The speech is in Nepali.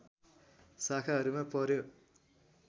शाखाहरूमा पर्‍यो